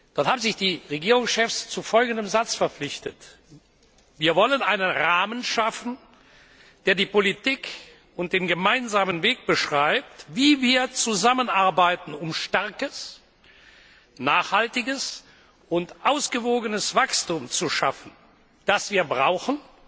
Dort haben sich die Regierungschefs zu folgendem Satz verpflichtet Wir wollen einen Rahmen schaffen, der die Politik und den gemeinsamen Weg beschreibt, wie wir zusammenarbeiten, um starkes, nachhaltiges und ausgewogenes Wachstum zu schaffen, das wir brauchen,